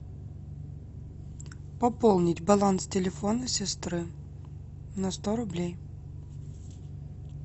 пополнить баланс телефона сестры на сто рублей